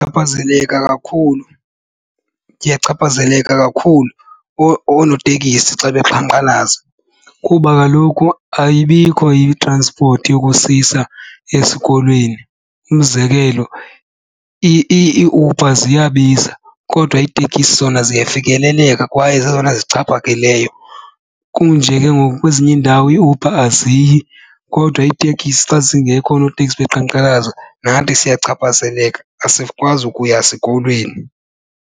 Chaphazeleka kakhulu, ndiyachaphazeleka kakhulu oonotekisi xa beqhankqalaza kuba kaloku ayibikho itranspothi yokusisa esikolweni. Umzekelo iiUber ziyabiza kodwa iitekisi zona ziyafikeleleka kwaye zezona zixhaphakileyo. Kum nje ke ngoku kwezinye iindawo iiUber aziyi kodwa iitekisi xa zingekho oonoteksi beqhankqalaza nathi siyachaphazeleka asikwazi ukuya sikolweni.